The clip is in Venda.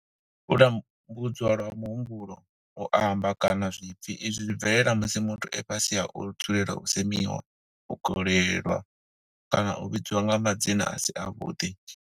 U tambudzwa lwa muhumbulo, u amba, kana zwipfi, Izwi zwi bvelela musi muthu e fhasi ha u dzulela u semiwa, u kolelwa kana u vhidzwa nga madzina a si avhuḓi.